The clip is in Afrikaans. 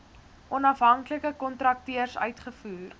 onafhanklike kontrakteurs uitgevoer